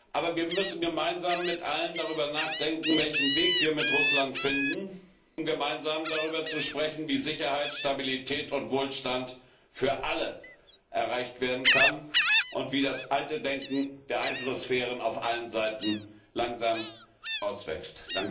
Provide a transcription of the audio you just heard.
Aber wir müssen gemeinsam mit allen darüber nachdenken, welchen Weg wir mit Russland finden, um gemeinsam darüber zu sprechen, wie Sicherheit, Stabilität und Wohlstand für alle erreicht werden können und wie das alte Denken der Einflusssphären auf allen Seiten langsam herauswächst.